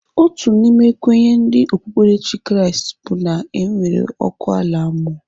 Otu n'ime kwenye ndi okpukperechi Kraịst bụ na enwere ọkụ ala mmụọ.